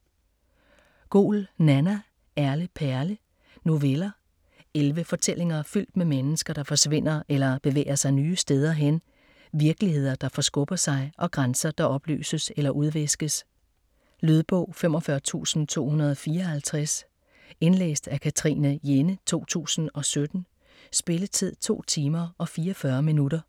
Goul, Nanna: Erle perle Noveller. Elleve fortællinger fyldt med mennesker, der forsvinder eller bevæger sig nye steder hen, virkeligheder, der forskubber sig og grænser, der opløses eller udviskes. Lydbog 45254 Indlæst af Katrine Jenne, 2017. Spilletid: 2 timer, 44 minutter.